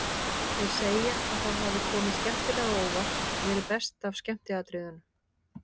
Þeir segja að það hafi komið skemmtilega á óvart, verið best af skemmtiatriðunum.